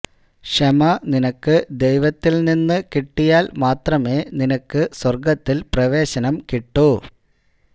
ക്ഷമ നിനക്ക് ദൈവത്തിൽനിന്ന് കിട്ടിയാൽ മാത്രമേ നിനക്ക് സ്വർഗത്തിൽ പ്രവേശനം കിട്ടൂ